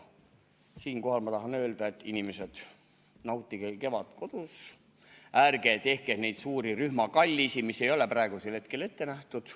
Siinkohal ma tahan öelda, et, inimesed, nautige kevadet kodus, ärge tehke neid suuri rühmakallisid, mis ei ole praegusel hetkel ette nähtud.